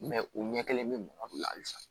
u ɲɛ kelen bɛ bamakɔ halisa